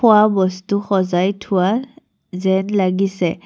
খোৱা বস্তু সজাই থোৱা যেন লাগিছে।